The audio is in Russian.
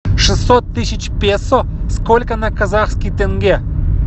шестьсот тысяч песо сколько на казахский тенге